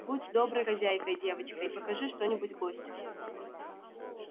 будь доброй хозяйкой девочка и покажи что нибудь гостю